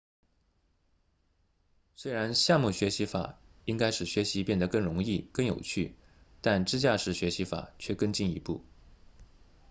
虽然项目学习法应该使学习变得更容易更有趣但支架式学习法却更进一步